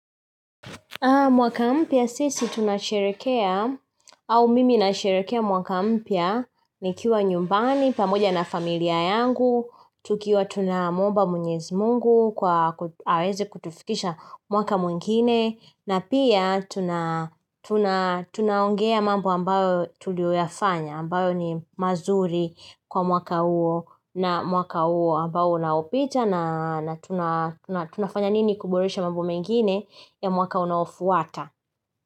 Mwaka mpya sisi tunasherekea, au mimi nasherekea mwaka mpya nikiwa nyumbani, pamoja na familia yangu, tukiwa tunamuomba mwenyezi mungu, kwa aweze kutufikisha mwaka mwingine, na pia tuna tunaongea mambo ambao tulio yafanya, ambayo ni mazuri kwa mwaka huo na mwaka huo ambao unaopita, na tunafanya nini kuboresha mambo mengine ya mwaka unaofuata.